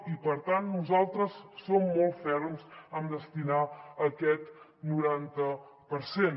i per tant nosaltres som molt ferms amb destinar aquest noranta per cent